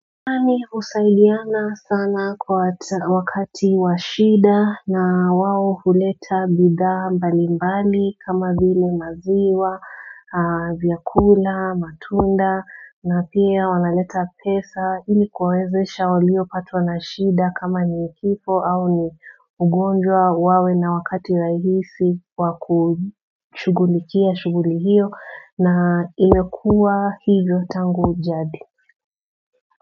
Usaidiana sana kwa wakati washida na wawo huleta bidha mbali mbali kama vile maziwa, vyakula, matunda na pia wanaleta pesa ilikuwezesha walio patwa na shida kama nikipo au ni ugonjwa wawe na wakati rahisi wakuchugulikia shughuli hiyo na imekua hivyo tangu jadi.